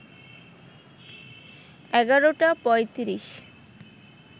১১টা ৩৫